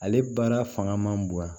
Ale baara fanga man bon yan